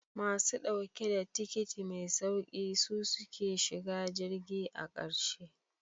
Masu dauke da tikiti mai sauki su suke shiga jirgi a karshe.